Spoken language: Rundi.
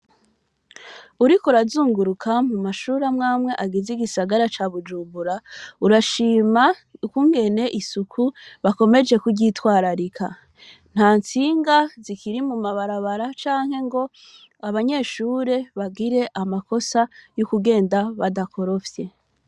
Uriko urazunguruka mu mashure amwe amwe agize igisagara ca Bujumbura, urashima ukungene isuku bakomeje kuryitwararika. Nta ntsinga zikiri mu mabarabara canke ngo abanyeshure bagire amakosa yo kugenda badakorofye.